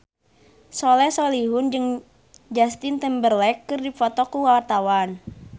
Soleh Solihun jeung Justin Timberlake keur dipoto ku wartawan